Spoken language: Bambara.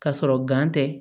Ka sɔrɔ tɛ